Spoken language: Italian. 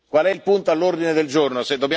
qual è il punto all'ordine del giorno,